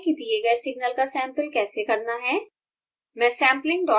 अब सीखते हैं कि दिए गए सिग्नल का सैम्पल कैसे करना है